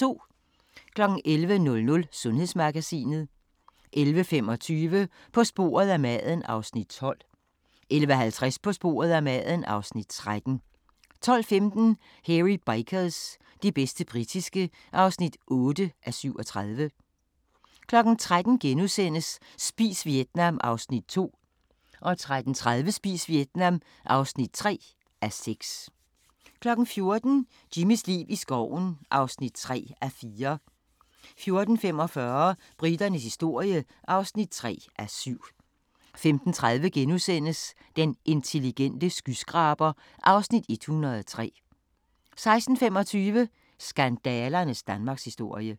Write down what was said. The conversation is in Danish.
11:00: Sundhedsmagasinet 11:25: På sporet af maden (Afs. 12) 11:50: På sporet af maden (Afs. 13) 12:15: Hairy Bikers – det bedste britiske (8:37) 13:00: Spis Vietnam (2:6)* 13:30: Spis Vietnam (3:6) 14:00: Jimmys liv i skoven (3:4) 14:45: Briternes historie (3:7) 15:30: Den intelligente skyskraber (Afs. 103)* 16:25: Skandalernes Danmarkshistorie